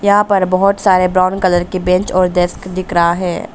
यहां पर बहोत सारे ब्राउन कलर के बेंच और डेस्क दिख रहा है।